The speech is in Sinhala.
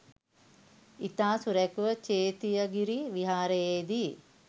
ඉතා සුරැකිව චේතියගිරි විහාරයේදී